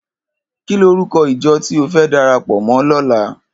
Kini órúkò ijò ti ó fè dàrápò mò lòlá?